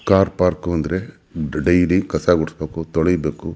car park ಅಂದ್ರೆ daily ಕಸ ಗುಡಿಸಬೇಕು ತೊಳಿಬೇಕು --